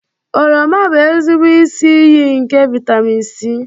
Oroma bụ ezigbo isi iyi nke vitamin C